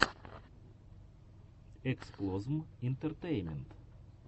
эксплозм интертеймент